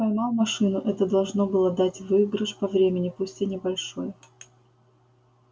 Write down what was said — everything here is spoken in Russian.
поймал машину это должно было дать выигрыш по времени пусть и небольшой